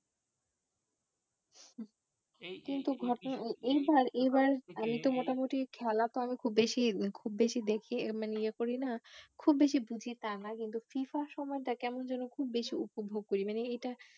কিন্তু এইবার এইবার আমি তো মোটামুটি খেলা তো আমি খুব বেশি, খুব বেশি দেখি মানে ইয়ে করি না খুব বেশি বুঝি তা নয় কিন্তু FIFA র সময়টা কেমন যেন খুব বেশি উপভোগ করি মানে এইটা